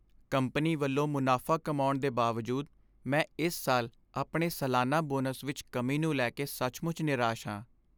Company ਵੱਲੋਂ ਮੁਨਾਫ਼ਾ ਕਮਾਉਣ ਦੇ ਬਾਵਜੂਦ ਮੈਂ ਇਸ ਸਾਲ ਆਪਣੇ ਸਾਲਾਨਾ ਬੋਨਸ ਵਿੱਚ ਕਮੀ ਨੂੰ ਲੈ ਕੇ ਸੱਚਮੁੱਚ ਨਿਰਾਸ਼ ਹਾਂ।